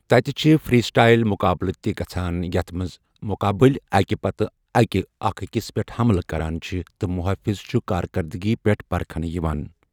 تَتہِ چھِ freestyle مُقابلہٕ تہِ گژھَان، یَتھ منٛز مُقابٕلۍ اَکہِ پتہٕ اَکہِ اَکھ أکِس پیٹھ حملہٕ کران چھِ، تہٕ مُحٲفِظ چھُ کارکردگی پٮ۪ٹھ پرکھٕنہٕ یِوان۔